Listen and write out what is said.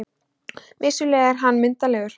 Vissulega er hann myndarlegur.